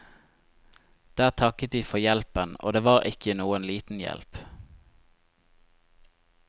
Der takket de for hjelpen, og det var ikke noen liten hjelp.